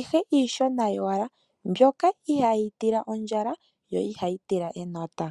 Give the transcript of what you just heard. ihe iishona yowala mbyoka ihayi tila ondjala yo ihayi tila enota.